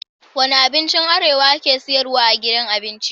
Wane abincin arewa ake siyarwa a gidan abinci?